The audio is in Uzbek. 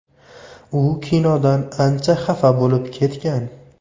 U kinodan ancha xafa bo‘lib ketgan.